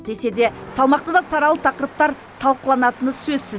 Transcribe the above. десе де салмақты да саралы тақырыптар талқыланатыны сөзсіз